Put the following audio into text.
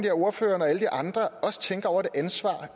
at ordføreren og alle de andre også tænker over det ansvar